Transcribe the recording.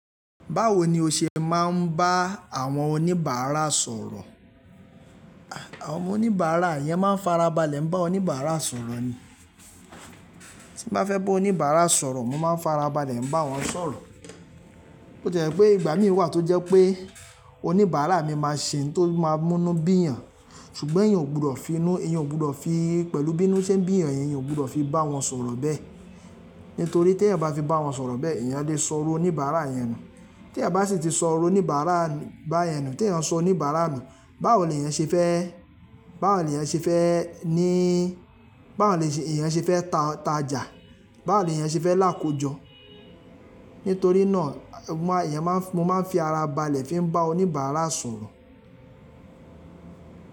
Báwo ni o ṣe máa ń bá àwọn oníbàárà sọ̀rọ̀? Àwọn oníbàárà eeyan máa ń farabalẹ̀, ń bá oníbàárà sọ̀rọ̀ ni. Tí mo bá fẹ́ bá oníbàárà sọ̀rọ̀, mo máa ń farabalẹ̀ ń bá wọn sọ̀rọ̀. Ó jẹ́ pé ìgbà mí wà tó jẹ́ pé oníbàárà mi máa ṣe ohun tó máa mú inú bíyan, ṣùgbọ́n eeyan ò gbọdọ̀ fi inú, eeyan ò gbọdọ̀ fi pẹ̀lú bí inú ṣe ń bíyan yẹn, eeyan ò gbọdọ̀ fi bá wọn sọ̀rọ̀ bẹ́ẹ̀. Nítorí teẹyan bá fi bá wọn sọ̀rọ̀ bẹ́ẹ̀, eeyan lè sọ̀ru oníbàárà yẹn nù. Tí eeyan bá sì ti sọ̀rọ̀ oníbàárà bá yẹn nù, tí eeyan sọ oníbàárà nu, báwo leeyan ṣe fẹ́, báwo leeyan ṣe fẹ́ níí, báwo ni eeyan ṣe fẹ́ ta ta jà, báwo leeyan ṣe fẹ́ lákójọ? Nítorí náà, ìyẹn máa ń, mo máa ń fi ara balẹ̀ fi ń bá oníbàárà sọ̀rọ̀.